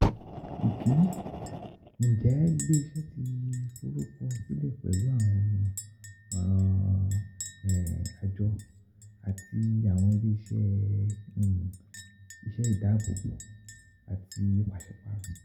one. Njẹ ile-iṣẹ ti forukọsilẹ pẹlu Awọn ọran Ajọ um ati Awọn Ile um ise alaabo ati um pasiparo?